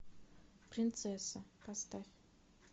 принцесса поставь